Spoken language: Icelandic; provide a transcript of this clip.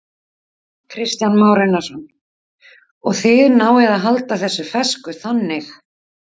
Kristján Már Unnarsson: Og þið náið að halda þessu fersku þannig?